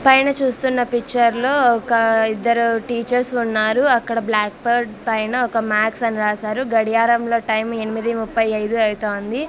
పైన చూస్తున్న పిక్చర్ లో ఒక ఇద్దరు టీచర్స్ ఉన్నారు అక్కడ బ్లాక్ బోర్డ్ పైన ఒక మ్యాథ్స్ అని రాశారు గడియారంలో టైం ఎనిమిది ముప్పై ఐదు అవుతుంది.